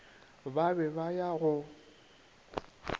ba be ba ya go